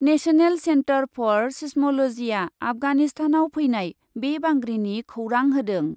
National centre for seismology आफगानिस्तानाव फैनाय बे बांग्रिनि खौरां होदों ।